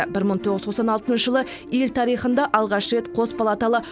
бір мың тоғыз жүз тоқсан алтыншы жылы ел тарихында алғаш рет қос палаталы